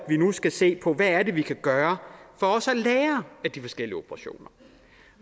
vi nu skal se på hvad det er vi kan gøre for også at lære af de forskellige operationer